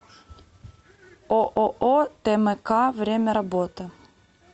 ооо тмк время работы